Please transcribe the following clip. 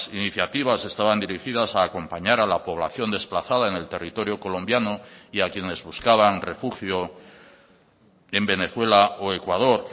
iniciativas estaban dirigidas a acompañar a la población desplazada en el territorio colombiano y a quienes buscaban refugio en venezuela o ecuador